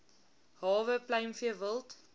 hawe pluimvee wild